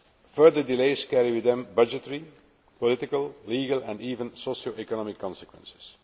Further delays carry with them budgetary, political, legal and even socio economic consequences.